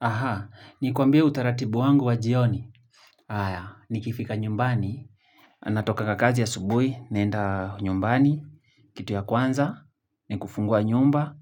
Aha, nilikwambia utaratibu wangu wa jioni. Aya, nikifika nyumbani, natokanga kazi asubuhi, naenda nyumbani, kitu ya kwanza ni kufungua nyumba,